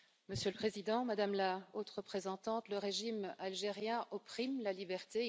Monsieur le Président, Madame la Haute représentante, le régime algérien opprime la liberté